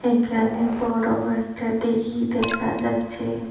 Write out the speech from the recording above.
এখানে বড় একটা দীঘি দেখা যাচ্ছে।